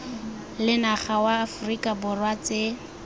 lenaga wa aforika borwa tse